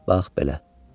Bax belə.